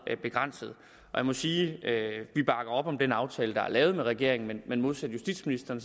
begrænsede jeg må sige at vi bakker op om den aftale der er lavet med regeringen men modsat justitsministeren